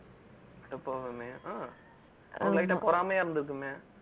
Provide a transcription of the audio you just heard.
அட பாவமே ஹம் light அ பொறாமையா இருந்துருக்குமே